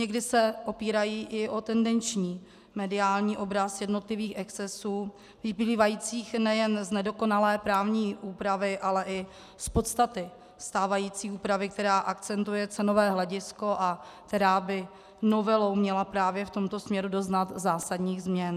Někdy se opírají i o tendenční mediální obraz jednotlivých excesů vyplývajících nejen z nedokonalé právní úpravy, ale i z podstaty stávající úpravy, která akcentuje cenové hledisko a která by novelou měla právě v tomto směru doznat zásadních změn.